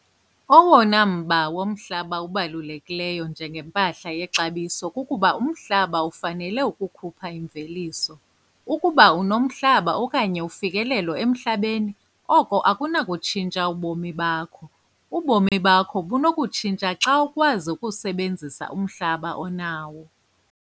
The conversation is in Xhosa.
Owona mba womhlaba ubalulekileyo njengempahla yexabiso kukuba umhlaba ufanele ukukhupha imveliso. Ukuba unomhlaba okanye ufikelelo emhlabeni oko akunatshintsha ubomi bakho - ubomi bakho bunokutshintsha xa ukwazi ukusebenzisa umhlaba onawo.